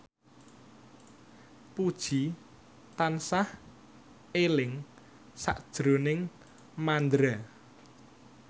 Puji tansah eling sakjroning Mandra